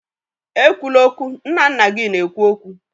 Ekwula okwu! Nna nna gị na-ekwu okwu